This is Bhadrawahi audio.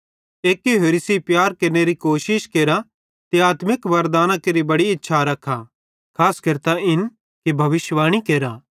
एक्की होरि सेइं प्यार केरनेरी कोशिश केरा ते आत्मिक वरदानां केरि बड़ी इच्छा रखा खास केरतां इन कि भविष्यिवाणी केरा